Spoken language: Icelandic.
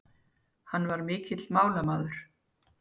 Hann var mikill málamaður.